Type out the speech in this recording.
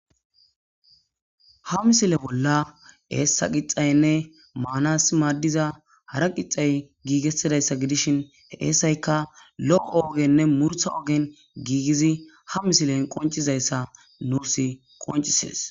Ha misile bolla eessa qixayinne maanas maaddiza hara qixxay gigettidayssa giddishin he eessayikka lo'o oogenne muurutta oogen gigidii ha misilen qonccizayssa nuus qonccises